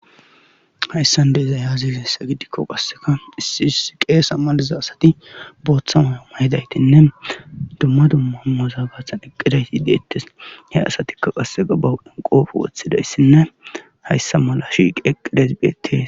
hayssan de'izay yaazi hessa gidikko qasseka issi issi qees ammaliza asati booththa mayoma hidaytinne dumma dumma muzaabathan eqqidayti yideettes he asatikka qasseqa bawudhan qoofe woththidayssinne hayssa mala shiqi eqqidesbiet